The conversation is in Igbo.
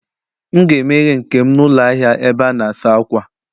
M ga-emeghe nke m n'ụlọ ahịa ebe a na-asa ákwà